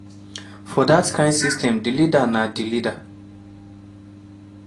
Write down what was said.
for dat kain system di leader na di leader.